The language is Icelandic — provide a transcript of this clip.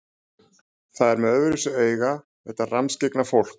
Það er með öðruvísi augu, þetta rammskyggna fólk.